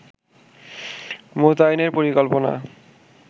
মোতায়েনের পরিকল্পনা